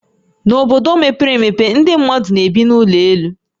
N'obodo mepee emepe, ndị mmadụ na-ebi n'ụlọ elu